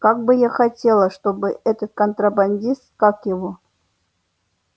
как бы я хотела чтобы этот контрабандист как его